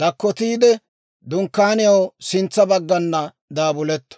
dakkotiide, dunkkaaniyaw sintsa baggana daabuletto.